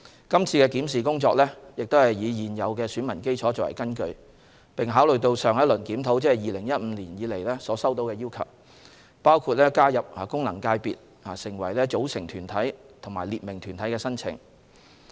今次的檢視工作亦是以現有的選民基礎為根據，並考慮到自上一輪檢討，即2015年以來所收到的要求，包括加入功能界別成為組成團體及訂明團體的申請。